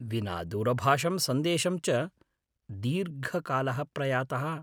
विना दूरभाषं सन्देशं च दीर्घकालः प्रयातः।